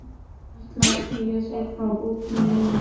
Ég ætla að segja þér frá bókinni núna.